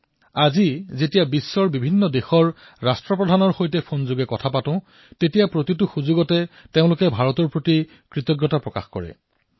আজি যেতিয়া অনেক দেশৰ মুৰব্বীয়ে মোলৈ ফোন কৰে তেতিয়া ভাৰতৰ জনসাধাৰণৰ প্ৰতি কৃতজ্ঞতা নিশ্চয়কৈ প্ৰকাশ কৰে